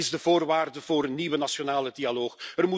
Dat is de voorwaarde voor een nieuwe nationale dialoog.